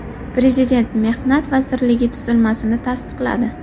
Prezident Mehnat vazirligi tuzilmasini tasdiqladi.